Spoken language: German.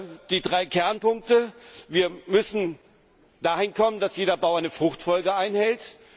Und die drei Kernpunkte Wir müssen dahin kommen, dass jeder Bauer eine Fruchtfolge einhält.